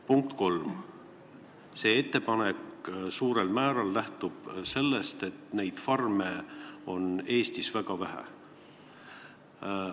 Punkt kolm, see teie ettepanek lähtub suurel määral sellest, et neid farme on Eestis väga vähe.